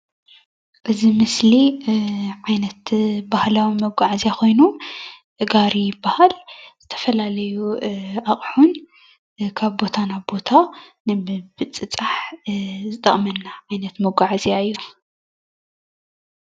እዚ ምስሊ ዓይነት ባህላዊ መጓዓዝያ ኾይኑ ጋሪ ይበሃል። ተፈላለዩ ኣቁሑን ካብ ቦታ ናብ ቦታ ንምብፅጻሕ ዝጠቕመና ዓይነት መጓዓዝያ እዩ።